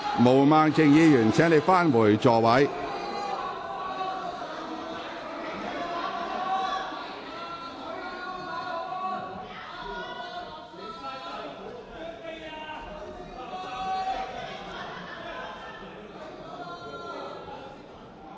毛孟靜議員，請你返回座位。